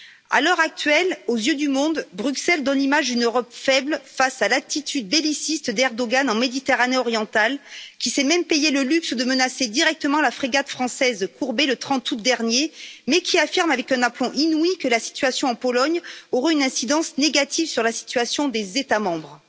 À l'heure actuelle, aux yeux du monde, Bruxelles donne l'image d'une Europe faible face à l'attitude belliciste d'Erdogan en Méditerranée orientale lequel s'est même payé le luxe de menacer directement la frégate française Courbet le 30 août dernier mais qui affirme avec un aplomb inouï que la situation en Pologne aura une incidence négative sur la situation des États membres.